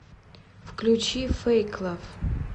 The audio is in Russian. включи фэйк лав